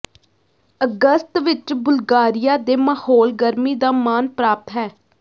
ਅਗਸਤ ਵਿਚ ਬੁਲਗਾਰੀਆ ਦੇ ਮਾਹੌਲ ਗਰਮੀ ਦਾ ਮਾਣ ਪ੍ਰਾਪਤ ਹੈ